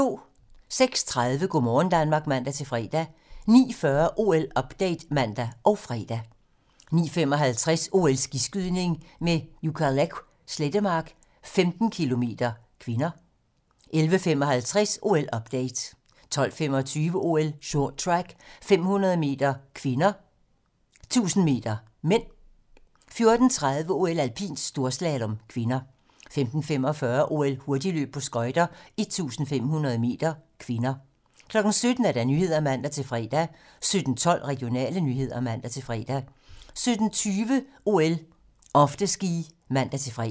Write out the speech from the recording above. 06:30: Go' morgen Danmark (man-fre) 09:40: OL-update (man og fre) 09:55: OL: Skiskydning - med Ukaleq Slettemark, 15 km (k) 11:55: OL-update 12:25: OL: Short track - 500 m (k)/1000 m (m) 14:30: OL: Alpint - storslalom (k) 15:45: OL: Hurtigløb på skøjter - 1500 m (k) 17:00: Nyhederne (man-fre) 17:12: Regionale nyheder (man-fre) 17:20: OL: Afterski (man-fre)